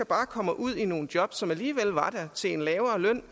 bare kommer ud i nogle job som alligevel var der til en lavere løn